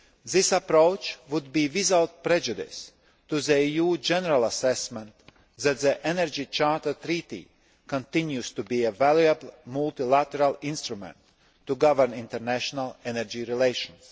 This approach would be without prejudice to the EU general assessment that the Energy Charter Treaty continues to be a valuable multilateral instrument to govern international energy relations.